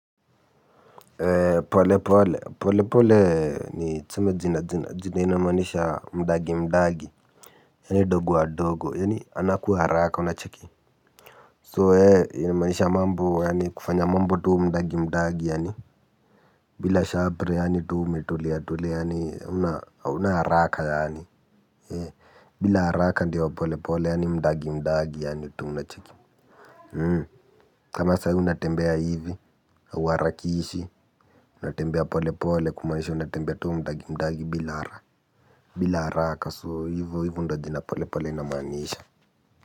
Pole pole pole pole pole ni tseme jina jina zina inamanisha mdagi mdagi yani dogo wa dogo yani anaku haraka unacheki so ee inamaanisha mambo yani kufanya mambo tu mdagi mdagi yani bila shabri yani tu umetulia tulia yani haunaharaka yani bila haraka ndo pole pole yani mdagi mdagi yani tu unacheki. Kama sai unatembea hivi, hauwarakishi, natembea pole pole kumanisha unatembea tu mdagi mdagi bila ara. Bila araka so hivu hivu ndo jina pole pole inamanisha.